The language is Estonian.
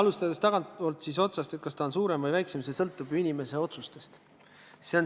Alustades tagantpoolt – see, kas pension on suurem või väiksem, sõltub ju inimese otsustest.